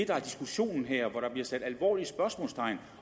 der er diskussionen her hvor der bliver sat alvorlige spørgsmålstegn